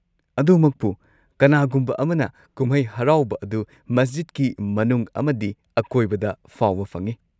ꯑꯗꯨꯃꯛꯄꯨ ꯀꯅꯥꯒꯨꯝꯕ ꯑꯃꯅ ꯀꯨꯝꯍꯩ ꯍꯔꯥꯎꯕ ꯑꯗꯨ ꯃꯁꯖꯤꯗꯀꯤ ꯃꯅꯨꯡ ꯑꯃꯗꯤ ꯑꯀꯣꯏꯕꯗ ꯐꯥꯎꯕ ꯐꯪꯉꯤ꯫